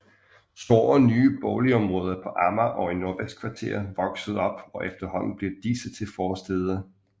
Store nye boligområder på Amager og i Nordvestkvarteret voksede op og efterhånden blev disse til forstæder